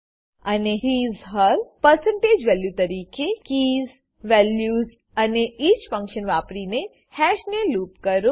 અને hisહેર percentage value તરીકે કીઝ વેલ્યુઝ અને ઇચ ફંક્શન વાપરીને હેશ ને લૂપ કરો